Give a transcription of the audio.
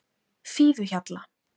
Fífuhjalla